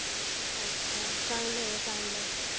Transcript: अच्छा. चांगलं आहे ना चांगलं आहे.